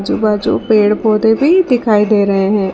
बाज़ू पेड़ पौधे भी दिखाई दे रहे हैं।